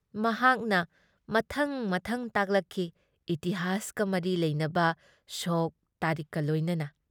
ꯃꯍꯥꯛꯅ ꯃꯊꯪ-ꯃꯊꯪ ꯇꯥꯛꯂꯛꯈꯤ ꯏꯇꯤꯍꯥꯁꯀ ꯃꯔꯤ ꯂꯩꯅꯕ ꯁꯣꯛ ꯇꯥꯔꯤꯈꯀ ꯂꯣꯏꯅꯅ ꯫